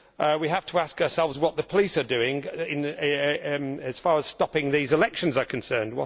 We have to ask ourselves what the police are doing as far as stopping these elections is concerned.